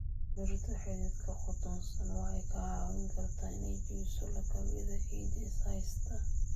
Dhirta xididka qotonsan waxay kaa caawin kartaa inay jebiso lakabyada ciidda is haysta.